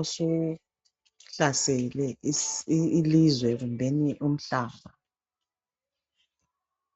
osuhlasele isi i ilizwe kumbeni umhlaba.